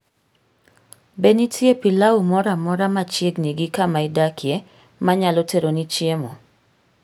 Be nitie pilau moro amora machiegni gi kama idakie ma nyalo teroni chiemo?